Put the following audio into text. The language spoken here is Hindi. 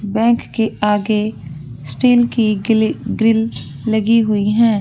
बैंक के आगे स्टील की गिली गिल लगी हुई है।